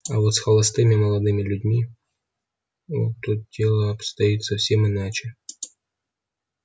а вот с холостыми молодыми людьми о тут дело обстоит совсем иначе